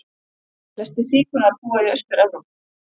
Flestir sígaunar búa í Austur-Evrópu.